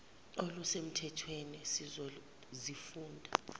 oluse mthethweni sizozifunda